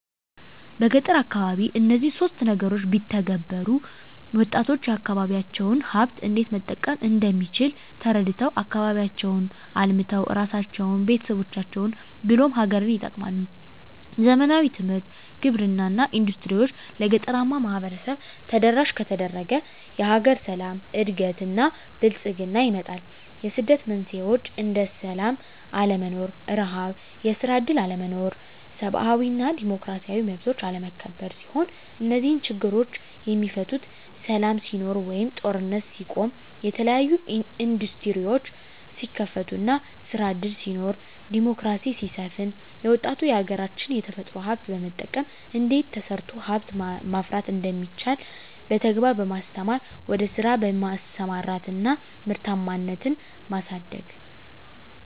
በገጠር አካባቢ እነዚህን ሶስት ነገሮች ቢተገበሩ -ወጣቶች የአካባቢዎቻቸውን ሀብት እንዴት መጠቀም እንደሚችል ተረድተው አካባቢያቸውን አልምተው እራሳቸውን፤ ቤተሰቦቻቸውን ብሎም ሀገርን ይጠቅማሉ። ዘመናዊ ትምህርት፤ ግብርና እና ኢንዱስትሪዎች ለገጠራማው ማህበረሰብ ተደራሽ ከተደረገ የሀገር ሰላም፤ እድገት እና ብልፅግና ይመጣል። የስደት መንስኤዎች እንደ ስላም አለመኖር፤ ርሀብ፤ የስራ እድል አለመኖር፤ ሰብአዊ እና ዲሞክራሲያዊ መብቶች አለመከበር ሲሆኑ -እነዚህ ችግሮች የሚፈቱት ሰላም ሲኖር ወይም ጦርነት ሲቆም፤ የተለያዬ እንዱስትሪዎች ሲከፈቱ እና ስራ እድል ሲኖር፤ ዲሞክራሲ ሲሰፍን፤ ለወጣቱ የሀገራች የተፈጥሮ ሀብት በመጠቀም እንዴት ተሰርቶ ሀብት ማፍራት እንደሚቻል በተግባር በማስተማር ወደ ስራ በማሰማራት እና ምርታማነትን ማሳደግ።